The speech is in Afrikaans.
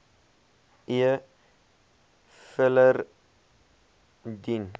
e filer dien